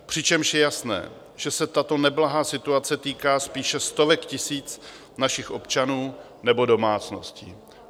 Přičemž je jasné, že se tato neblahá situace týká spíše stovek tisíc našich občanů nebo domácností.